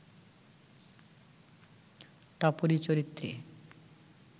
টাপুরী চরিত্রে